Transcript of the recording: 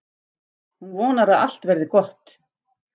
Hún vonar að allt verði gott.